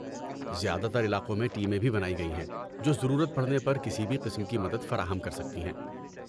زیادہ تر علاقوں میں ٹیمیں بھی بنائی گئی ہیں جو ضرورت پڑنے پر کسی بھی قسم کی مدد فراہم کر سکتی ہیں۔